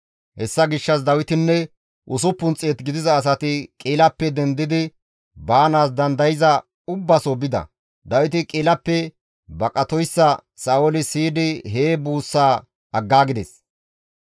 Hessa gishshas Dawitinne 600 gidiza asati Qi7ilappe dendidi baanaas dandayza ubbaso bida; Dawiti Qi7ilappe baqatoyssa Sa7ooli siyidi hee buussaa aggaagides.